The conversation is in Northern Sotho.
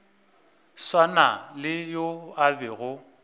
swana le yo a bego